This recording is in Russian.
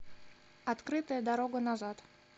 открытая дорога назад